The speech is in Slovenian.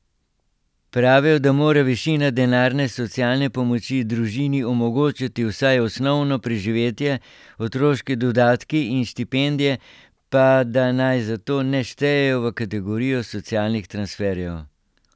Pravijo, da mora višina denarne socialne pomoči družini omogočati vsaj osnovno preživetje, otroški dodatki in štipendije pa da naj zato ne štejejo v kategorijo socialnih transferjev.